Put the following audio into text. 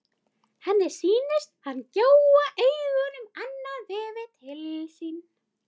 Henni sýnist hann gjóa augunum annað veifið til sín.